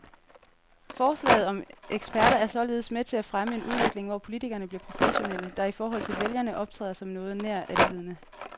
Forslaget om eksperter er således med til at fremme en udvikling, hvor politikerne bliver professionelle, der i forhold til vælgerne optræder som noget nær alvidende.